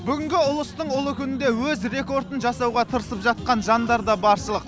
бүгінгі ұлыстың ұлы күнінде өз рекордын жасауға тырысып жатқан жандар да баршылық